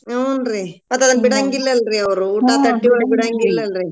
ಹೂನ್ರಿ ಮತ್ತದ್ನ್ ಬಿಡಂಗಿಲ್ಲಲ್ರೀ ಅವ್ರು ಊಟಾ ತಟ್ಟಿ ಒಳ್ಗ ಬಿಡಂಗಿಲ್ಲಲ್ರೀ.